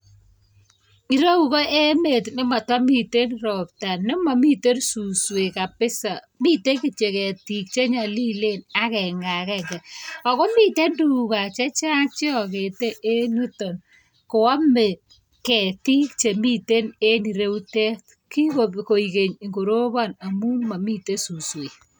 Ireyu ko emet nematamiten robta nemamitenbsuswek kabisa miten kityo ketik chenyalilen agengeagenge akomiten tuga chechang cheagete en yuton Kwame ketik Chemiten en ireutet kikoik geny koroban amun mamiten suswek